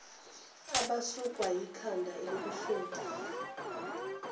abasukwa yikhanda elibuhlungu